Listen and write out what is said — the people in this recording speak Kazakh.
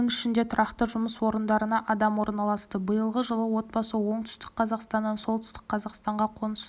оның ішінде тұрақты жұмыс орындарына адам орналасты биылғы жылы отбасы оңтүстік қазақстаннан солтүстік қазақстанға қоныс